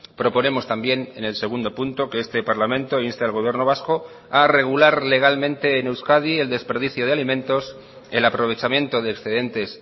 proponemos también en el segundo punto que este parlamento inste al gobierno vasco a regular legalmente en euskadi el desperdicio de alimentos el aprovechamiento de excedentes